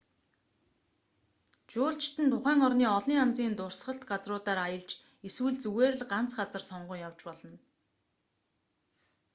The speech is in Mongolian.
жуулчид нь тухайн орны олон янзын дурсгалт газруудаар аялж эсвэл зүгээр л ганц газар сонгон явж болно